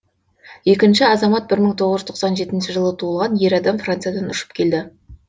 екінші азамат бір мың тоғыз жүз тоқсан жетінші жылы туылған ер адам франциядан ұшып келді